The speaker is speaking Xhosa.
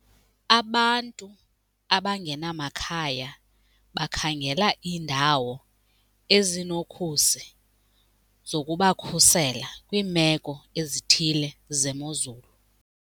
Abantu abangenamakhaya bakhangela iindawo ezinokhusi zokubakhusela kwiimeko ezithile zemozulu.